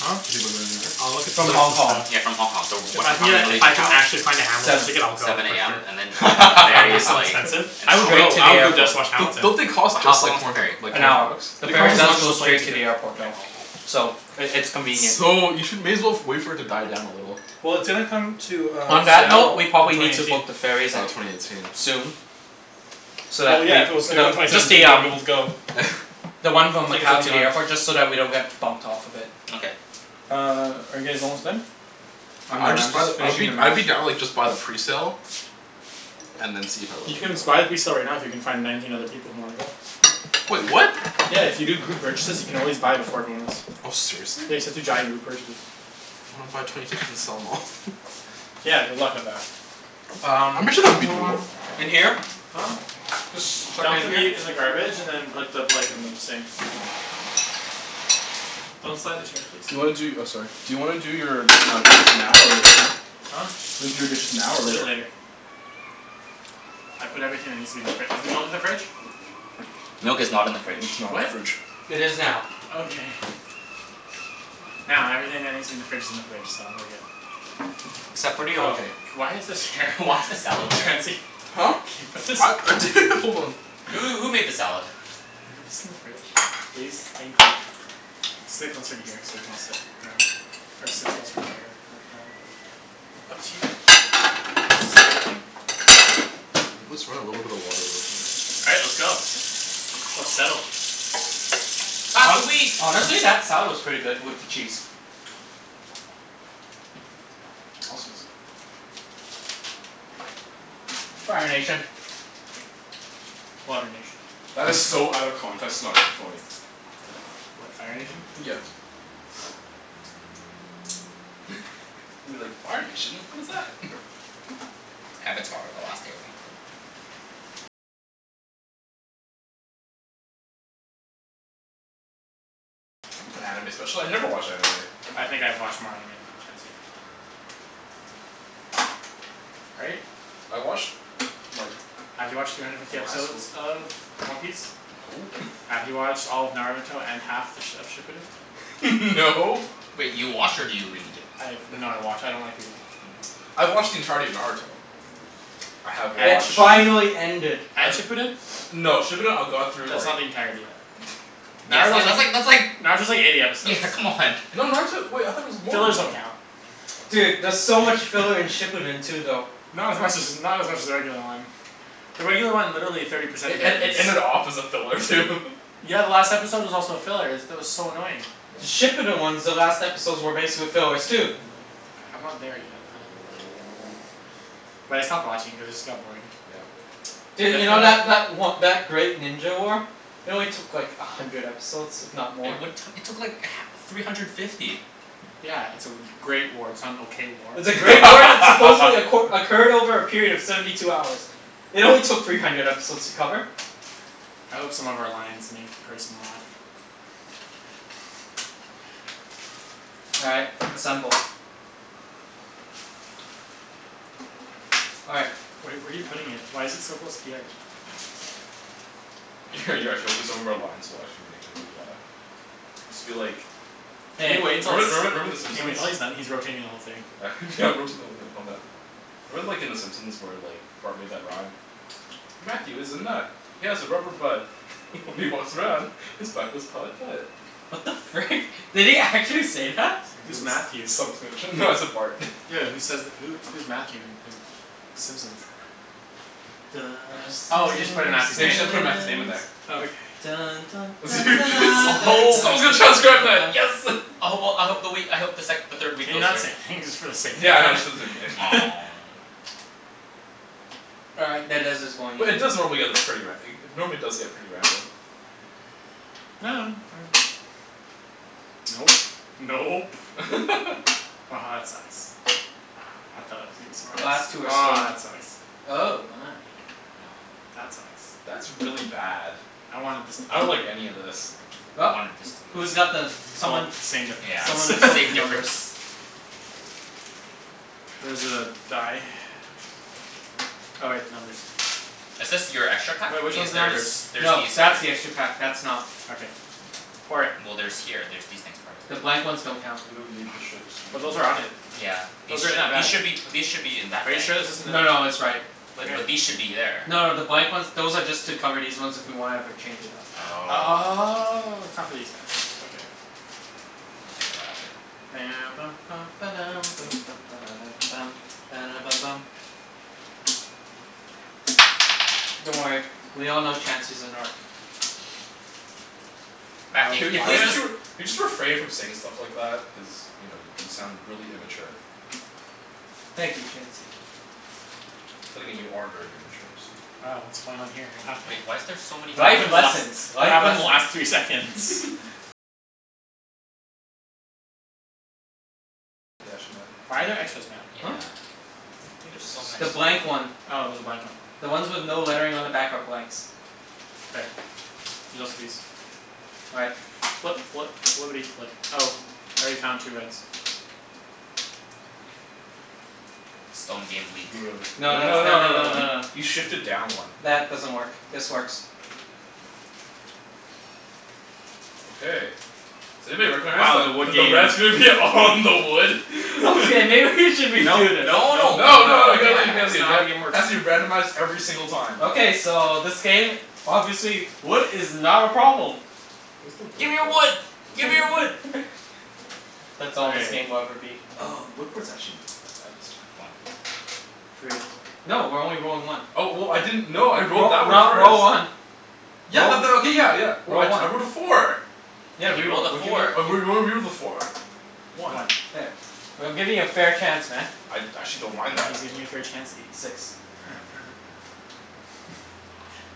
Huh? Talking about going to New York? I'll look at So s- From tickets Hong and Kong. stuff. s- yeah from Hong Kong, so If what I can time are get we a gonna if leave I can Macau? actually find a Hamilton Seven. ticket I'll go Seven for AM, sure. and then like the But it'll ferry be is so like, expensive. an I would hour? Straight go, to I the would go just airport. to watch Don't Hamilton. don't they cost But how just how like long is four the hundred ferry? like An four hour. hundred bucks? The They ferry cost as does much as go a plane straight to ticket. the airport though. So it it's convenient. So you should, may as well wait for it to die down a little. Well, it's gonna come to uh On that note, Seattle we in probably twenty need to eighteen. book the ferries Oh, at, twenty eighteen. soon. So Well that yeah, we, if it was gonna come though, twenty just seventeen the you wouldn't be um able to go. The one from Tickets would Macau be to gone. the airport, just so that we don't get bumped off of it. Okay. Uh, are you guys almost done? I'm I would done, I'm just buy the, just I would finishing be the I would mash. be down to like just buy the presale. And then see if everyone You would can go. just buy the presale right now if you can find nineteen other people who wanna go. Wait, what? Yeah, if you do group purchases you can always buy them for everyone else. Oh, seriously? Yeah, you just have to giant group purchase. I wanna buy twenty tickets and sell 'em off Yeah, good luck with that. I'm Um pretty sure that'd be doable. in here? Huh? Just chuck it Dump the in here? meat in the garbage and then put the plate in the sink. Don't slide the chairs please. Do you wanna do, oh sorry, do you wanna do your uh dishes now or later? Huh? Do you wanna do your dishes now or We'll do it later? later. I put everything that needs to be in the fri- is the milk in the fridge? Milk is not in the Milk fridge. is not in What? the fridge. It is now. Okay. Now everything that needs to be in the fridge is in the fridge, so we're good. Except for the O Oh, J. why is this here Why is the salad there? Chancey. Huh? What's this Hold on. Who who made the salad? Could you put this in the fridge? Please? Thank you. Sit closer to here so we can all sit around or sit closer to there Up to you. Uh is this everything? Okay. Let's run a little bit of water real quick. All right, let's go. Let's settle. Pass the Hon- wheat. honestly, that salad was pretty good with the cheese. I was gonna sit there. Fire Nation. Water Nation. That is so out of context it's not even funny. What, Fire Nation? Yeah. You're like "Fire Nation? What is that?" Avatar, the Last Airbender. I'm not an anime special- I never watch anime. I think I've watched more anime than you Chancey. Right? I watched like Have you watched three hundred fifty in high episodes school of One Piece? No. Have you watched all of Naruto and half th- of Shippuden? No. Wait, you watch or do you read? I have, no I watch, I don't like reading. I've watched the entirety of Naruto. I have It And watched Shippuden? finally ended. Uh And Shippuden? No, Shippuden I got through That's like not the entirety then. Yeah it's Naruto like was, that's like that's like. Naruto's like eighty episodes. Yeah, come on. No, Naruto, wait I thought it was more than Fillers that. don't count. Dude, there's so much filler in Shippuden too though. Not as much as, not as much as the regular one. The regular one, literally thirty percent It of it ed- it is ended off as a filler too Yeah, the last episode was also a filler. Is, that was so annoying. The Yeah. Shippuden ones, the last episodes were basically fillers too. I'm not there yet um But I stopped watching cuz it just got boring. Yeah. Def Dude, you know wanna that that o- that Great Ninja War? It only took like a hundred episodes, if not more. It what, it took like h- three hundred fifty. Yeah, it's a w- great war. It's not an okay war. It's a great war that supposedly acqu- occurred over a period of seventy two hours. It only took three hundred episodes to cover. I hope some of our lines make the person laugh. All right, assemble. All right. Where are you where are you putting it? Why is it so close to the edge? You're actually hoping some of our lines will actually make everybody laugh. Just be like Can Hey. you wait until it's, Remember remember remember the can you wait Simpsons? until he's done? He's rotating the whole thing. Yeah I'm rotating the whole thing, calm down. Remember like in the Simpsons where like Bart made that rhyme? "Matthew is a nut, he has a rubber butt." "When he walks around, his butt goes putt putt." What the frick? Did he actually say that? Someone's Who's gonna Matthew? s- someone's gonna tr- no I said Bart. Yo who says th- who who's Matthew in in Simpsons? The Bunch of Oh you just put in Simpsons. Matthew's Yeah, you name? just gotta put Matthew's name in there. Oh okay. Simpsons. Someone's gonna transcribe that. Yes! I hope well I hope the wheat, I hope the sec- the third wheat Can you goes not say here. anything just for the sake of Yeah, I know, that? just All right, that dice is going in But it like does normally that. get this pretty ra- normally does get pretty random. Nope. Nope. Aha that sucks. I thought it was gonna be Last two smartest. are Aw stone, that sucks. oh my. That sucks. That's really bad. I wanted this to be I don't like any here. of this. Well. I wanted this to be Who's got uh the, Well, someone same Yeah, difference. someone it's sort the same numbers. difference. Where's the die? Oh wait, numbers. Is this your extra pack? Wait, which These, one's the there is, numbers? there's No, these here. that's the extra pack. That's not. Okay. Pour it. Well there's here, there's these things part of The it. blank ones don't count. We don't need the ships, we're But not those going are to on play it. with them. Yeah. These Those are in should, our these bags. should be, these should be in that Are you bag. sure this isn't the No no, it's right. Wait Wait, but but these should be there. No no, the blank ones, those are just to cover these ones if we wanna ever change it up. Oh. Oh, it's not for these guys, okay. We'll take them out after. Don't worry, we all know Chancey's a narc. Oh Matthew, Can can you you can you please why just actually r- can you just refrain from saying stuff like that? Cuz you know y- you sound really immature. Thank you Chancey. But then again, you are very immature, so Uh what's going on here? What happened? Wait, why is there so many What Life happened the last lessons, what life happened lessons. the last three seconds? Why are there extras, Matt? Yeah, Huh? I think there's this so The many. blank is one. one. Oh there's a blank one. The ones with no lettering on the back are blanks. K, there's also these. All right. Flip flip flippity flip. Oh, I already found two reds. Stone game weak. Move it over. No No no that's, no tha- no no no no no no no, no. you shifted down one. That doesn't work, this works. Okay, does anybody recognize Wow, the wood that the games. red's gonna be all on the wood? Okay, maybe we should Nope redo this. nope No no, no nope nope No no no nope. you gotta leave it yeah. you gotta It's leave it not how the got game works. Has to be randomized every single time Okay, so this game, obviously wood is not a problem. Where's the wood Gimme your port? wood! Oh it's Gimme your right wood! there. That's all this Okay. game will ever be. Oh the wood port's actually not that bad this One. time. Three. No, we're only rolling one. Oh w- w- I didn't, no I rolled Roll, that one roll, first. roll one. Yeah Roll, but that, okay, yeah yeah, roll one. I rolled a four. Yeah, Yeah, he rolled re-roll. a We're giving four. a four. Whatever, one. One. There. We- I'm giving you a fair chance, man. I I actually don't mind He's that. giving you a fair Chancey. Six.